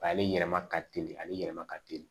Ale yɛlɛma ka teli ale yɛlɛma ka teli